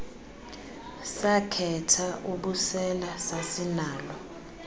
sakhetha ubusela sasinalo